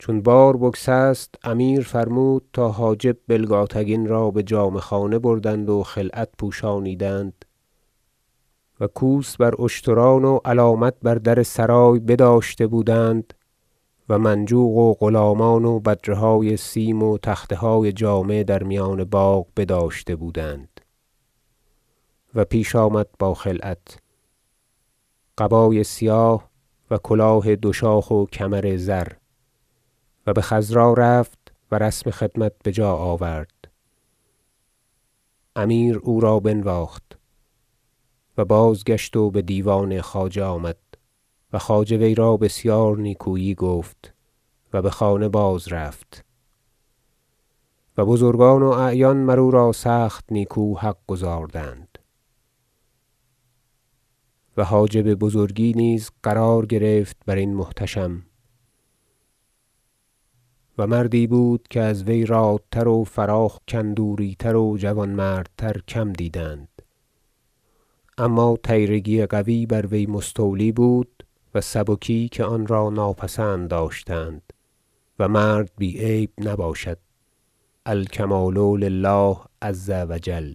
چون بار بگسست امیر فرمود تا حاجب بلگاتگین را بجامه خانه بردند و خلعت پوشانیدند و کوس بر اشتران و علامتها بر در سرای بداشته بودند و منجوق و غلامان و بدره های سیم و تخته های جامه در میان باغ بداشته بودند و پیش آمد با خلعت قبای سیاه و کلاه دوشاخ و کمر زر و بخضرا رفت و رسم خدمت بجا آورد امیر او را بنواخت و بازگشت و بدیوان خواجه آمد و خواجه وی را بسیار نیکویی گفت و بخانه بازرفت و بزرگان و اعیان مر او را سخت نیکو حق گزاردند و حاجب بزرگی نیز قرار گرفت برین محتشم و مردی بود که از وی رادتر و فراخ کندوری تر و جوانمردتر کم دیدند اما طیرگی قوی بر وی مستولی بود و سبکی که آن را ناپسند داشتند و مرد بی عیب نباشد الکمال لله عزوجل